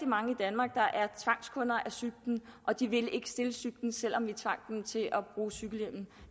mange i danmark der er tvangskunder cyklen og de vil ikke stille cyklen selv om vi tvang dem til at bruge cykelhjelm